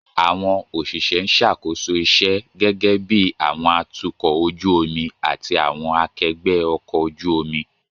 Àwọn òṣìṣẹ́ ń ṣàkóso iṣẹ́, gẹ́gẹ́ bí àwọn atukọ̀ ojú omi àti àwọn akẹgbẹ́ ọkọ̀ ojú omi.